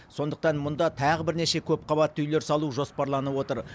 сондықтан мұнда тағы бірнеше көпқабатты үйлер салу жоспарланып отыр